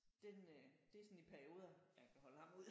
Den øh det er sådan i perioder man kan holde ham ud